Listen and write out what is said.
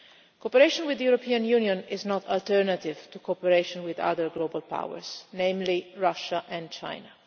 Cooperation with the European Union is not an alternative to cooperation with other global powers, namely Russia and China.